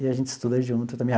E a gente estuda junto também.